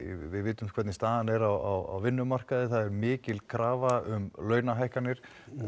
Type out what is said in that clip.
við vitum hvernig staðan er á vinnumarkaði það er mikil krafa um launahækkanir